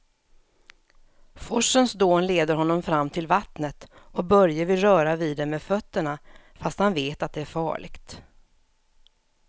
Forsens dån leder honom fram till vattnet och Börje vill röra vid det med fötterna, fast han vet att det är farligt.